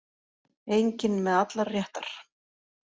Enginn með allar réttar